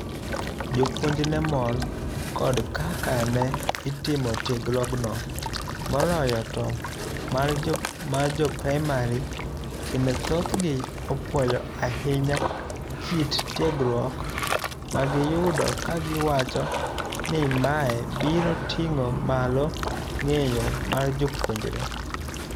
Jopuonj ne mor kod kaka ne itimo tiegruogno moloyo to mar jo praimari kendo thothgi opuoyo ahinya kit tiegruok magiyudokagiwacho ni mae biro ting'o malong'eyo mar jopuonjre.